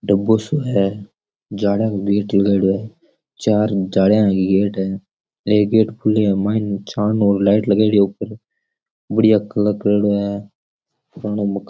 डब्बो साे है जालियां को गेट लगायोडो है चार जालियां गेट है एक गेट खुलो है मायने छान और लाइट लगायोडी है ऊपर बढ़िया कलर करेड़ो है --